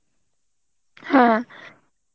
হ্যাঁ